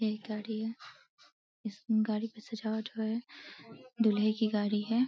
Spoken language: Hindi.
यह एक गाड़ी है। इस गाड़ी का सजावट हुआ है। दूल्हे की गाड़ी है।